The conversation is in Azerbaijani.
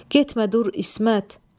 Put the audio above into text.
Getmə dur İsmət!